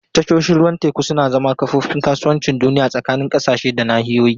Tashoshin ruwan teku suna zama kofofin kasuwancin duniya tsakanin ƙasashe da nahiyoyi.